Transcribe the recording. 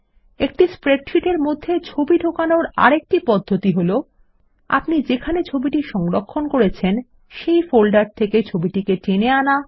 একটি স্প্রেডশীট এর মধ্যে ছবি ঢোকানোর আরেকটি পদ্ধতিতে হলো আপনি যেখানে ছবিটি সংরক্ষণ করেছেন সেই ফোল্ডার থেকে ছবিটিকে টেনে আনা